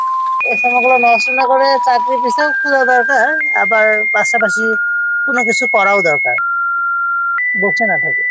এই সময়গুলো নষ্ট না করে চাকরির পিছনে খোঁজা দরকার আবার পাশাপাশি অন্য কিছু করাও দরকার বসে না থেকে।